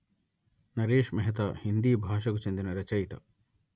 నరేశ్ మెహతా హిందీ భాషకు చెందిన రచయిత